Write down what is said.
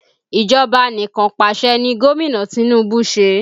Ìjọba anikanpasẹ̀ ni Gomina Tinubu ṣe